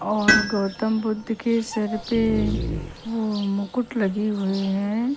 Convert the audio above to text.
और गौतम बुद्ध के सर पे वो मुकुट लगी हुई है।